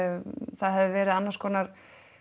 það hefði verið annars konar